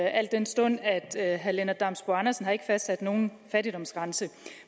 al den stund at herre lennart damsbo andersen ikke har fastsat nogen fattigdomsgrænse